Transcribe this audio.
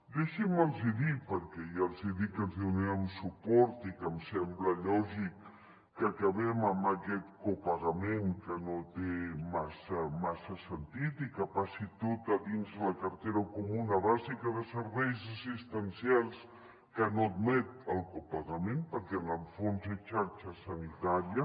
deixin me’ls dir perquè ja els hi he dit que els hi donarem suport i que em sembla lògic que acabem amb aquest copagament que no té massa sentit i que passi tot a dins de la cartera comuna bàsica de serveis assistencials que no admet el copagament perquè en el fons és xarxa sanitària